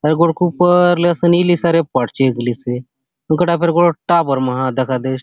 आउर गोटोक ऊपर ले असन इली से आरे ए पाट चेघलीसे उन कटा गोटोक टावर मा दखा दयसे।